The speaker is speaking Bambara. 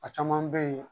A caman bɛ yen